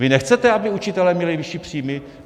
Vy nechcete, aby učitelé měli vyšší příjmy?